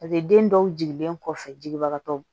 den dɔw jigilen kɔfɛ jigibagatɔw